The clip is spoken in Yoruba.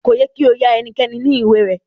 Ko yẹ ki o ya ẹnikẹ́ni ni ìwé rẹ.